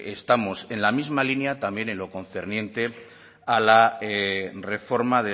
estamos en la misma línea también en lo concerniente a la reforma